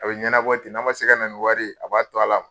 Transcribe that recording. A bɛ ye ɲɛna bɔ ten n'a ma se ka na wari ye a b'a to a la.